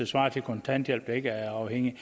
svarer til kontanthjælp der ikke er afhængig af